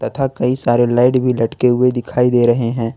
तथा कई सारे लाइट भी लटके हुए दिखाई दे रहे हैं ।